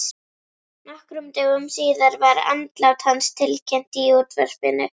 Nokkrum dögum síðar var andlát hans tilkynnt í útvarpinu.